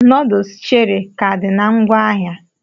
Noodles Cherie ka did na ngwaahịa?